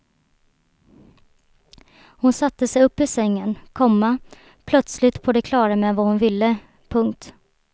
Så satte hon sig upp i sängen, komma plötsligt på det klara med vad hon ville. punkt